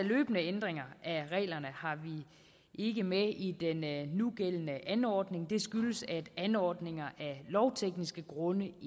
løbende ændringer af reglerne har vi ikke med i den nugældende anordning det skyldes at anordninger af lovtekniske grunde